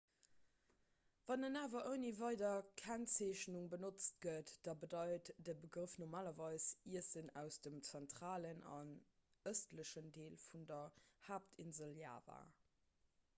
wann en awer ouni weider kennzeechnung benotzt gëtt da bedeit de begrëff normalerweis iessen aus dem zentralen an ëstlechen deel vun der haaptinsel java